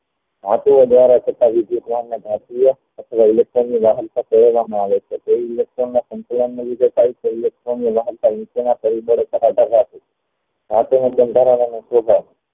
દ્વારા થતા અથવા electronic કહેવામાં આવે છે